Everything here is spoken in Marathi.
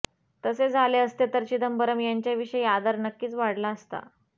तसे झाले असते तर चिदंबरम यांच्याविषयी आदर नक्कीच वाढला असता